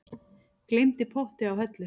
Gleymdi potti á hellu